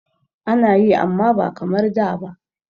Ana yi amma ba kamar da ba.